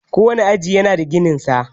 Kowane aji yana da gininsa.